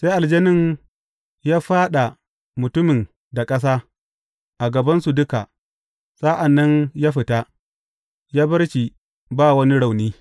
Sai aljanin ya fyaɗa mutumin da ƙasa a gabansu duka, sa’an nan ya fita, ya bar shi ba wani rauni.